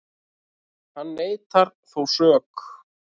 Hann neitar þó sök